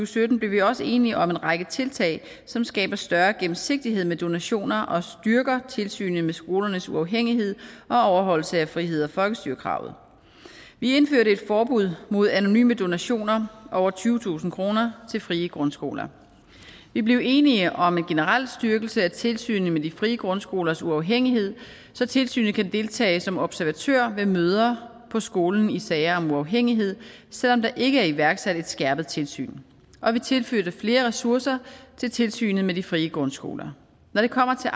sytten blev vi også enige om en række tiltag som skaber større gennemsigtighed med donationer og styrker tilsynet med skolernes uafhængighed og overholdelse af frihed og folkestyre kravet vi indførte et forbud mod anonyme donationer over tyvetusind kroner til frie grundskoler vi blev enige om en generel styrkelse af tilsynet med de frie grundskolers uafhængighed så tilsynet kan deltage som observatør ved møder på skolen i sager om uafhængighed selv om der ikke er iværksat et skærpet tilsyn og vi tilførte flere ressourcer til tilsynet med de frie grundskoler når det kommer til